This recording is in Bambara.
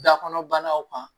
Da kɔnɔ banaw kan